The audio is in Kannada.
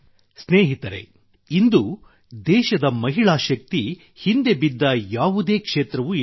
ಸ್ನೇಹಿತರೇ ಇಂದು ದೇಶದ ಮಹಿಳಾ ಶಕ್ತಿ ಹಿಂದೆ ಬಿದ್ದ ಯಾವುದೇ ಕ್ಷೇತ್ರವೇ ಇಲ್ಲ